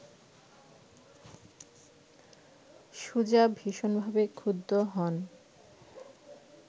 সুজা ভীষণভাবে ক্ষুব্ধ হন